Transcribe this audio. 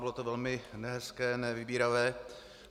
Bylo to velmi nehezké, nevybíravé.